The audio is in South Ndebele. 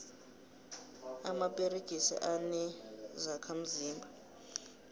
amaperegisi anezokha mzimba